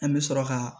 An bɛ sɔrɔ ka